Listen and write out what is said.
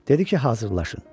Dedi ki, hazırlaşın.